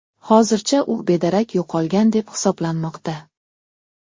Hozircha u bedarak yo‘qolgan deb hisoblanmoqda.